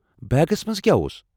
بیگس منٛز کیٛاہ اوس؟